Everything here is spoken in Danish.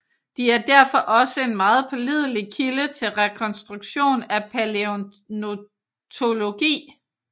De er derfor også en meget pålidelig kilde til rekonstruktion af palæontologi